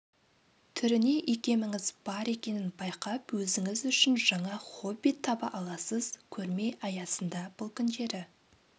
түріне икеміңіз бар екенін байқап өзіңіз үшін жаңа хобби таба аласыз көрме аясында бұл күндері